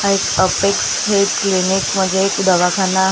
हा एक Apex Health clinic म्हणजे एक दवाखाना आहे तो --